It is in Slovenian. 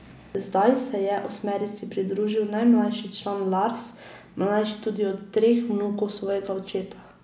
Zdaj se je osmerici pridružil najmlajši član Lars, mlajši tudi od treh vnukov svojega očeta.